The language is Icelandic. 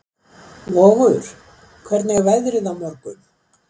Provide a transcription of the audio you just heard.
Vogur, hvernig er veðrið á morgun?